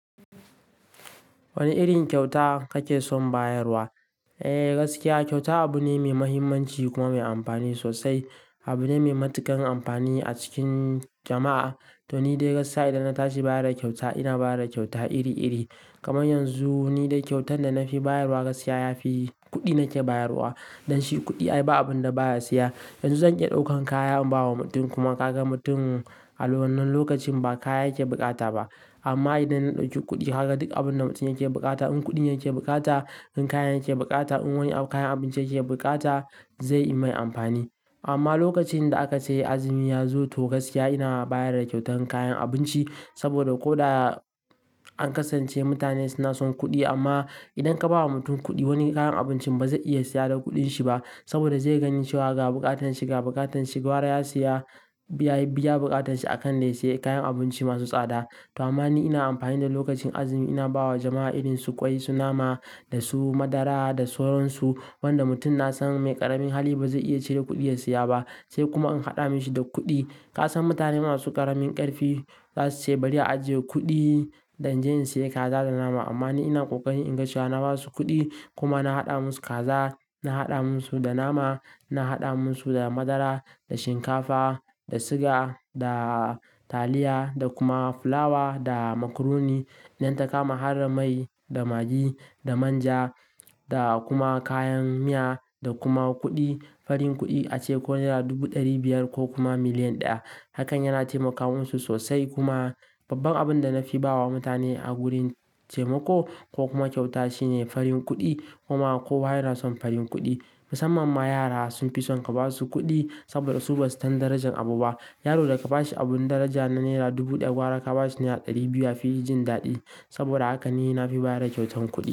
Wane irin kyauta kake son bayarwa? Eee gaskiya kyauta abu ne mai mahimmanci kuma mai amfani sosai. Abu ne mai matuƙan amfani a cikin jama'a. To ni dai gaskiya idan na tashi baya da kyauta ina baya da kyauta iri iri. Kaman yanzu ni dai kyautan da na fi bayarwa gaskiya yafi kuɗi nake bayarwa. Don shi kuɗi ai ba abun da baya siya. Yanzu zan iya ɗaukan kaya in bawa mutum kuma ka ga mutum a wannan lokacin ba kaya yake buƙata ba. Amma idan na ɗauki kuɗi haka duk abun da mutum yake buƙata, in kuɗi yake buƙata, in kaya yake buƙata, in wani kayan abinci yake bukata zai yi mai amfani. Amma lokacin da aka ce azumi ya zo to gaskiya ina bayar da kyautan kayan abinci. Saboda ko da an kasance mutane suna son kuɗi amma idan ka ba wa mutum kuɗi wani kayan abincin ba zai iya siya da kuɗin shi ba. Saboda zai yi gani cewa ga buƙatan shi, ga buƙatan shi, gwara ya siya, ya biya buƙatan shi a kan dayasiye kayan abinci masu tsada. To amma ni ina amfani da lokacin azumi ina bawa jama'a irin su ƙwai, su nama da su madara da soron su. Wanda mutum na san mai ƙaramin hali ba zai iya cire kuɗi ya siya ba. Sai kuma in haɗa mishi da kuɗi. Ka san mutane masu ƙaramin ƙarfi za su ce bari a ajiye kuɗi da inje in siya kaza da nama. Amma ni ina ƙoƙari in ga cewa na ba su kuɗi kuma na haɗa musu kaza, na haɗa musu da nama, na haɗa musu da madara, da shinkafa, da siga, da taliya da kuma fulawa da makuroni. Nan takama har da mai, da magi, da manja da kuma kayan miya da kuma kuɗi. Farin kuɗi ace ko naira dubu ɗari biyar ko kuma miliyan ɗaya. Hakan yana taimaka musu sosai kuma babban abin da na fi bawa mutane a gurin taimako ko kuma kyauta shine farin kuɗi kuma kowa yana son farin kuɗi. Musamman ma yara sun fi son ka ba su kuɗi saboda su ba su san darajan abu ba. Yaro da ka ba shi abun daraja na naira dubu ɗaya gwara ka ba shi naira ɗari biyu ya fi jin daɗi. Saboda haka ni na fi ba da kyautan kuɗi.